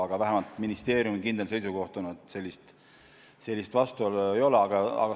Aga vähemalt ministeeriumi kindel seisukoht on, et sellist vastuolu ei ole.